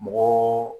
Mɔgɔ